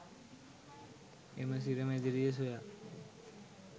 එම සිර මැදිරිය සොයා